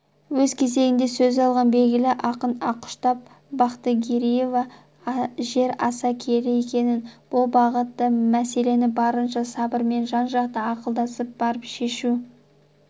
өз кезегінде сөз алған белгілі ақын ақұштап бақтыгереева жер аса киелі екенін бұл бағыттағы мәселені барынша сабырмен жан-жақты ақылдасып барып шешу